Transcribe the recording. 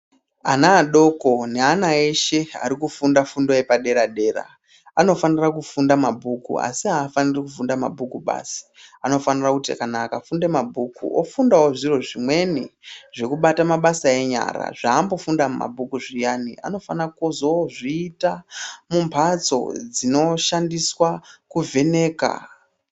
Ana adoko nevana eshe ari kufunda fundo yepadera-dera , anofanira kufunda mabhuku ,asi aafaniri kufunda mabhuku basi. Anofanira kuti kana akafunde mabhuku, ofundawo zviro zvimweni zvekubata mabasa enyara, zvaambofundira mumabhuku muyani. Anofana kuzoozviita mumphatso dzinoshandiswa kuvheneka.